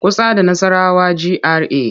Kusa da Nassarawa GRA.